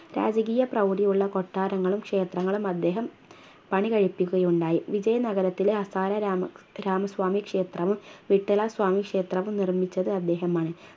രാജകീയ പ്രൗഢിയുള്ള കൊട്ടാരങ്ങളും ക്ഷേത്രങ്ങളും അദ്ദേഹം പണികഴിപ്പിക്കുകയുണ്ടായി വിജയ നഗരത്തിലെ അസ്സായ രാമസ്വാമി ക്ഷേത്രവും വിത്തള സ്വാമി ക്ഷേത്രവും നിർമ്മിച്ചത് അദ്ദേഹമാണ്